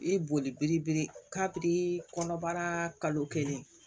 I bɛ boli biri kabini kɔnɔbara kalo kelen